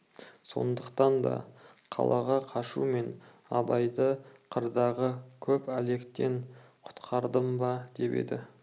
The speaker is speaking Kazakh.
сондықтан да қалаға қашумен абайды қырдағы көп әлектен құтқардым ба деп еді